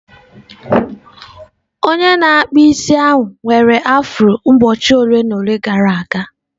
Onye na-akpụ isi ahụ nwere afro ụbọchị ole na ole gara aga.